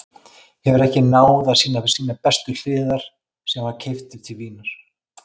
Hefur ekki náð að sýna sínar bestu hliðar síðan hann var keyptur til Vínar.